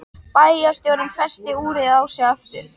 Bæjarstjórinn festi úrið á sig aftur.